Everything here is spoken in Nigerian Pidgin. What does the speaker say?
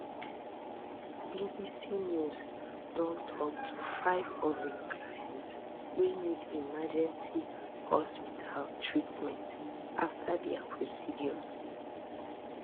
bbc news don tok to five of im clients wey need emergency hospital treatment afta dia procedures